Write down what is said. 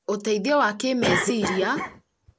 ũteithio wa kĩĩmeciria: